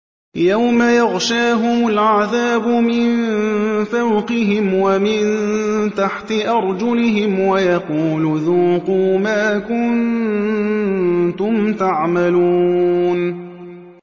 يَوْمَ يَغْشَاهُمُ الْعَذَابُ مِن فَوْقِهِمْ وَمِن تَحْتِ أَرْجُلِهِمْ وَيَقُولُ ذُوقُوا مَا كُنتُمْ تَعْمَلُونَ